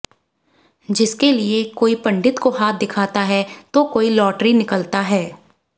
जिसके लिए कोई पंडित को हाथ दिखाता है तो कोई लॅाटरी निकलता है